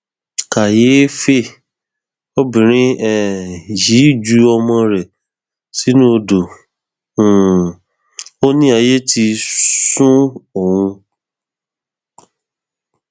kàyééfẹ obìnrin um yìí ju ọmọ rẹ sínú odò um ó ní ayé ti sún òun